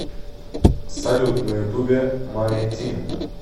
салют на ютубе мани тим